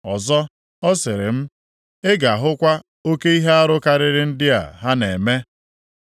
Ọzọ, ọ sịrị m, “Ị ga-ahụkwa oke ihe arụ karịrị ndị a ha na-eme!”